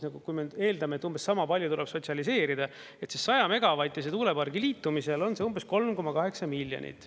Kui me eeldame, et umbes sama palju tuleb sotsialiseerida, siis 100-megavatise tuulepargi liitumisel on see umbes 3,8 miljonit.